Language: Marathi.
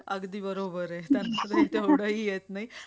अगदी बरोबर ये तेवढंही येत नाही.